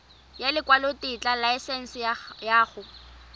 ya lekwalotetla laesense ya go